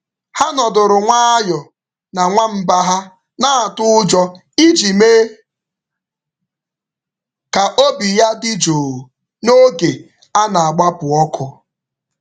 Ha nọdụrụ nwayọọ na nwamba ha na-atụ ụjọ iji mee ka obi ya dị jụụ n’oge a na-agbapụ ọkụ.